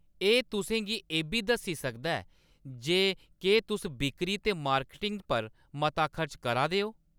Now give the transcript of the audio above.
एह्‌‌ तुसें गी एह्‌‌ बी दस्सी सकदा ऐ जे केह्‌‌ तुस बिक्करी ते मार्केटिंग पर मता खर्च करा दे ओ।